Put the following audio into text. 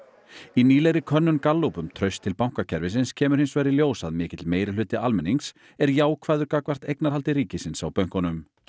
í nýlegri könnun Gallup um traust til bankakerfisins kemur hins vegar í ljós að mikill meirihluti almennings er jákvæður gagnvart eignarhaldi ríkisins á bönkunum